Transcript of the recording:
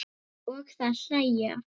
Og þær hlæja.